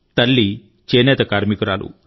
తల్లి చేనేత కార్మికురాలు